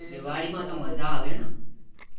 એમાં મજા આવે ને